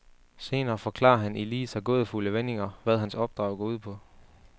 Senere forklarer han i lige så gådefulde vendinger, hvad hans opdrag går ud på.